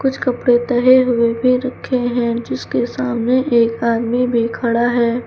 कुछ कपड़े तहे हुए भी रखे हैं जिसके सामने एक आदमी भी खड़ा है।